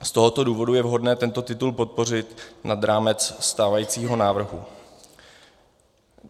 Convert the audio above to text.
Z tohoto důvodu je vhodné tento titul podpořit nad rámec stávajícího návrhu.